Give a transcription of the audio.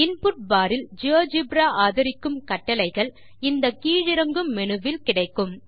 input bar இல் GeoGebra ஆதரிக்கும் கட்டளைகள் இந்த கீழிறங்கும் மேனு வில் கிடைக்கும்